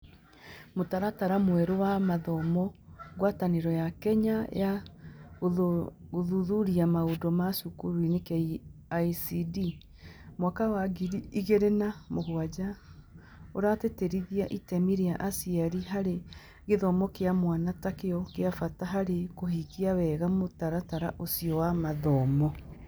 Mũtaratara mwerũ wa mathomo (Ngwatanĩro ya Kenya ya Gũthuthuria Maũndũ ma Cukurunĩ - KICD) mwaka wa ngiri igĩrĩ na mũgwanja) ũratĩtĩrithia itemi rĩa aciari harĩ gĩthomo kĩa mwana ta kĩo kĩa bata harĩ kũhingia wega mũtaratara ũcio wa mathomo.